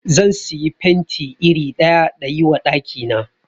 Zan siyi paint iri ɗaya dayi wa ɗaki na